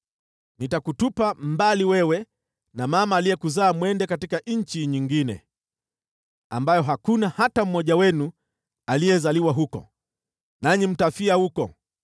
Nitakutupa mbali wewe na mama aliyekuzaa mwende katika nchi nyingine, ambayo hakuna hata mmoja wenu aliyezaliwa huko, nanyi mtafia huko.